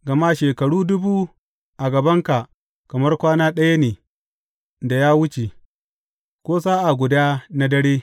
Gama shekaru dubu a gabanka kamar kwana ɗaya ne da ya wuce, ko sa’a guda na dare.